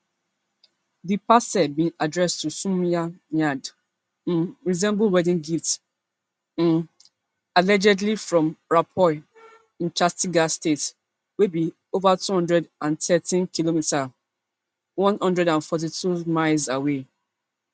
di parcel bin addressed to soumya nad um resemble wedding gift um allegedly from raipur in chattisgarh state wey be be ova two hundred and thirtykm one hundred and forty-two miles away